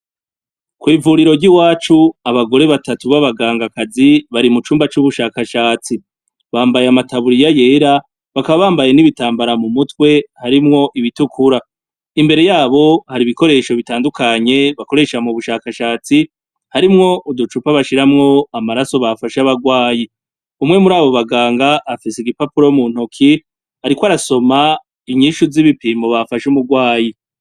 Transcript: Kw'ivuriro ry'iwacu abagore batatu abagangakazi bari mucumba c'ubushakashatsi. Bambaye amatabuliya yera bakaba bambaye nibitambara mumutwe harimwo ibitukura imbere yabo harimwo ibikoresho bitandukanye bakoresha mubushakashatsi harimwo uducupa bashiramwo amaraso bafashe abarwayi. Umwe muri abo banganga afise igipapuro muntoki ariko arasoma inyishu zipimo bafashe umurwayi.